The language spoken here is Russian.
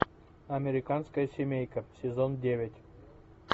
американская семейка сезон девять